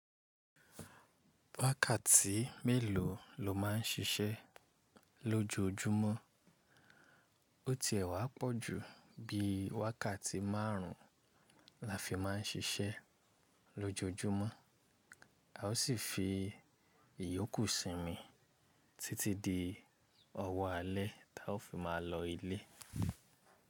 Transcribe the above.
Wákàtí mélòó lo má n ṣiṣẹ́ lójojúmọ́? Ó ti ẹ̀ wá pọ̀ ju bí wákàtí márùn-ún la fi má n ṣiṣẹ́ lójojúmọ́. A ó sì fi ìyókù sími títí di ọwọ́ alẹ́, táa ó fi má lọ ilé.